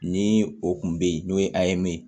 Ni o kun bɛ yen n'o ye a ye me